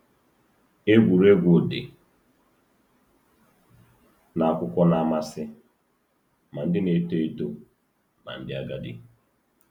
Egwuregwu dị n’akwụkwọ na-amasị ma ndị na-eto eto ma ndị agadi.